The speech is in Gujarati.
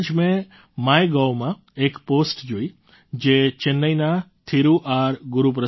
હમણાં જ મેં MyGovમાં એક પૉસ્ટ જોઈ જે ચેન્નાઈના થિરુ આર